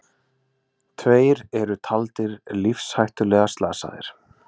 Tveir eru taldir lífshættulega slasaðir